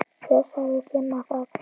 Hver sagði Simma það?